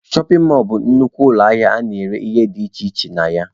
Shọpin mọlụ bụ nnukwu ụlọ ahịa a na-ere ihe dị iche iche na ya.